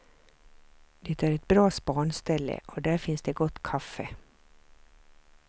Det är ett bra spanställe och där finns det gott kaffe.